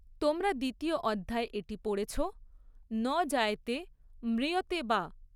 তোমরা দ্বিতীয় অধ্যায়ে এটি পড়েছ, 'ন জায়তে ম্রিয়তে বা'।